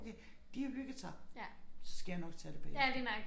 Okay de har hygget sig så skal jeg nok tage det bagefter